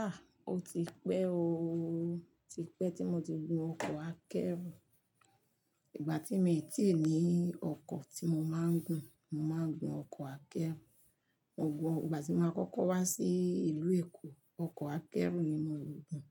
Ah! O ti pẹ́ ooo, oti pẹ́ tí mo ti gun ọkọ̀ akẹ́rù. Ìgbà tí mi ò tíì ní ọkọ̀ tí mo máa ń gun, mo máa ń gun ọkọ̀ akẹ́rù. Mo gun, ìgbà tí mo kọ́kọ́ wá sí ìlú Èkó, ọkọ̀ akẹ́rù ni mo rò gun